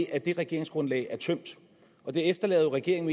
at det regeringsgrundlag er tømt og det efterlader jo regeringen